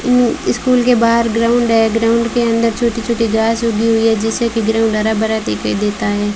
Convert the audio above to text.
School के बाहर ground है ग्राउंड के अंदर छोटी छोटी घास ऊगी हुई है जिससे कि ग्राउंड हरा भरा दिखाई देता है।